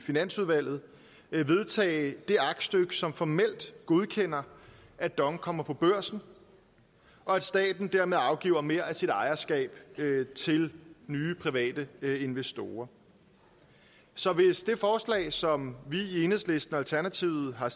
finansudvalget vedtage det aktstykke som formelt godkender at dong kommer på børsen og at staten dermed afgiver mere af sit ejerskab til nye private investorer så hvis det forslag som vi i enhedslisten og alternativet har